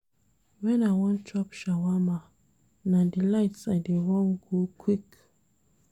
Wen I wan chop shawama, na Delights I dey run go quick.